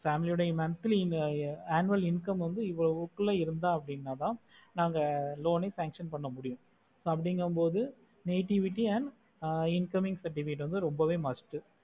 family ஓட annual income எவ்ளோ குள்ள அப்படி இருந்ததா நாங்க loan ஆஹ் function அகா முடியும் அப்படினா பொது negativity and incoming certifcate ரொம்பவேய் must